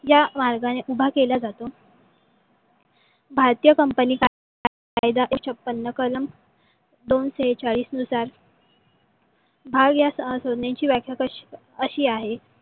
या मार्गाने उभा केला जातो . भारतीय company कायदा एकोणविसाक्षे छापन्न कलम दोन शेचाळीस नुसार भाग या सहा सदणेची व्याख्या आशी आहे.